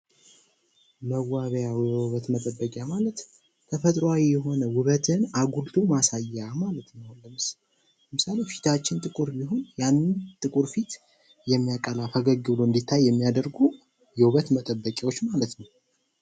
መዋቢያ ወይም የውበት መጠበቂያ ማለት ተፈጥሮአዊ የሆነ ውበትን አጉልቶ ማሳያ ማለት ነው። ለምሳሌ ሙሉ ፊታችን ጥቁር ቢሆን ያንን ጥቁር ፊት የሚያቀላ፥ ፈገግ ብሎ እንዲታይ የሚያደርግ የውበት መጠበቂያዎች ማለት ነው።